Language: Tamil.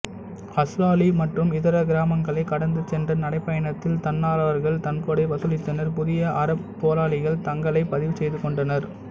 அஸ்லாலி மற்றும் இதர கிராமங்களைக் கடந்து சென்ற நடைப்பயணத்தில் தன்னார்வலர்கள் நன்கொடை வசூலித்தனர் புதிய அறப்போராளிகள் தங்களைப் பதிவு செய்துகொண்டனர்